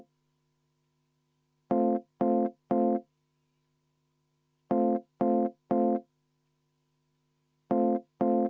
Sain selgelt aru teie soovist.